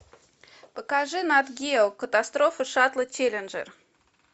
покажи нат гео катастрофа шаттла челленджер